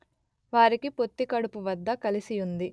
వారికి పొత్తికడుపు వద్ద కలసి యుంది